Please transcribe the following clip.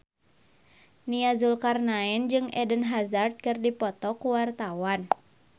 Nia Zulkarnaen jeung Eden Hazard keur dipoto ku wartawan